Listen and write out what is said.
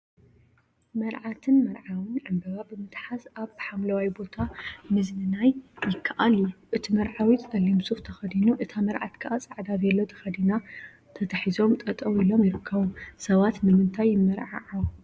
መርዓትን መርዓውን ዕምበባ ብምትሓዝ አብ ሓምለዋይ ቦታ ምዝንናይ ይከአል እዩ፡፡ እቲ መርዓዊ ፀሊም ሱፍ ተከዲኑ እታ መርዓት ከዓ ፃዕዳ ቬሎ ተከዲና ተታሒዞም ጠጠወ ኢሎም ይርከቡ፡፡ ሰባት ንምንታይ ይመርዓዓው?